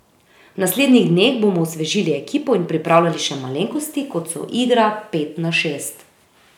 V naslednjih dneh bomo osvežili ekipo in pripravljali še malenkosti, kot so igra pet na šest.